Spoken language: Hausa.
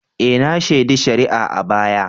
E! na shaidi shari'a a baya.